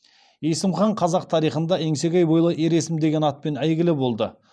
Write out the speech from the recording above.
есім хан қазақ тарихында еңсегей бойлы ер есім деген атпен әйгілі болды